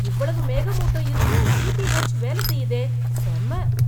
இவ்வளவு மேகமூட்டம் இருந்தும் டீடிஎச் வேலை செய்யுதே. செம்ம.